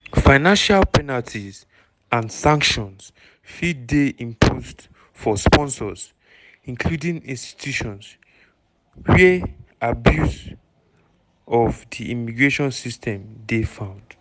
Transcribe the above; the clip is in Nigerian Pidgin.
financial penalties and sanctions fit dey imposed for sponsors (including institutions) wia abuse of di immigration system dey found.